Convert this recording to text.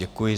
Děkuji.